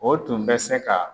O tun bɛ se ka